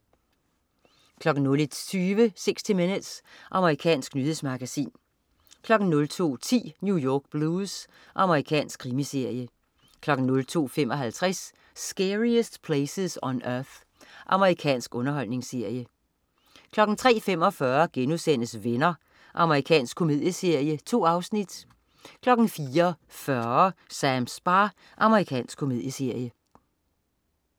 01.20 60 Minutes. Amerikansk nyhedsmagasin 02.10 New York Blues. Amerikansk krimiserie 02.55 Scariest Places on Earth. Amerikansk underholdningsserie 03.45 Venner.* Amerikansk komedieserie. 2 afsnit 04.40 Sams bar. Amerikansk komedieserie